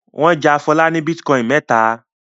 Wọn ja Fọlá ní bítíkọ́ìn mẹ́ta.